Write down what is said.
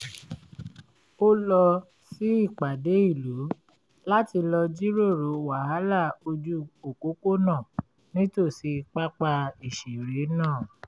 ó lọ sí ìpàdé ìlú láti lọ jíròrò wàhálà ojú òpópónà nítòsí pápá ìṣeré náà